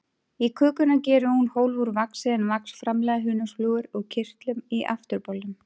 Í kökuna gerir hún hólf úr vaxi, en vax framleiða hunangsflugur úr kirtlum í afturbolnum.